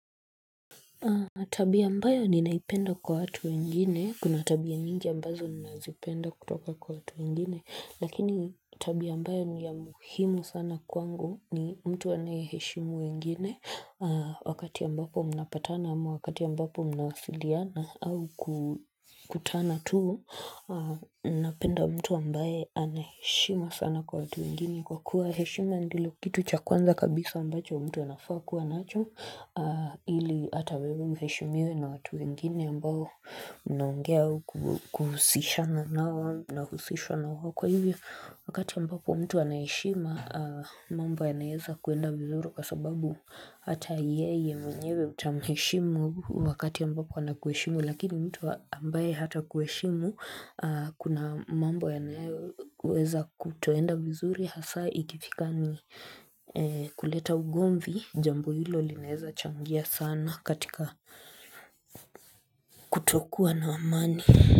Tabia ambayo ninaipenda kwa watu wengine, kuna tabia mingi ambazo ninazopenda kutoka kwa watu wengine, lakini tabia ambayo ni ya muhimu sana kwangu ni mtu anayeheshimu wengine, wakati ambapo wanapatana ama wakati ambapo mnawasiliana. Au kukutana tuu, napenda mtu ambaye anaheshimu sana kwa watu wengine kwa kuwa heshima ndio kitu cha kwanza kabisa ambacho mtu anafaa kuwa nacho, ili hata wewe uheshimiwe na watu wengine ambao mnaongea kuhusishana nao nahusishwa na wao kwa hivyo wakati ambapo mtu anaheshima mambo yanaeza kuenda vizuri kwa sababu hata yeye mwenyewe utamheshimu wakati ambapo anakuheshimu lakini mtu ambaye hata kuheshimu kuna mambo yanaeza kutoenda vizuri hasa ikifika ni kuleta ugomvi Jambo hilo lineza changia sana katika kutokuwa na amani.